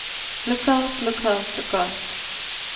lokalt lokalt lokalt